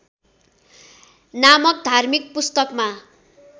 नामक धार्मिक पुस्तकमा